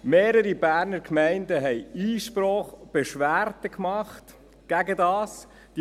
Mehrere Berner Gemeinden machten dagegen Einsprache, machten dagegen Beschwerde.